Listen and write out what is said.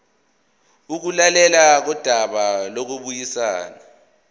ukulalelwa kodaba lokubuyisana